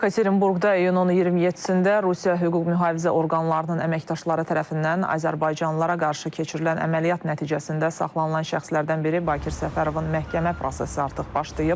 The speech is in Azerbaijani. Yekaterinburqda iyunun 27-də Rusiya hüquq-mühafizə orqanlarının əməkdaşları tərəfindən azərbaycanlılara qarşı keçirilən əməliyyat nəticəsində saxlanılan şəxslərdən biri Bakir Səfərovun məhkəmə prosesi artıq başlayıb.